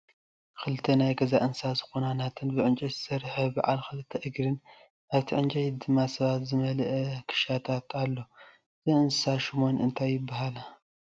ክልተ ናይ ገዛ እንስሳ ዝኮና ነናተን ብዕጨይቲ ዝሰረሐ ብዓል ክልተ እግሪን ኣብቲ ዕንጨይቲ ድማ ሰባትን ዝመለአ ክሻታትን ኣሎ። እተን እንስሳ ሹመን እንታይ ይብሃላ?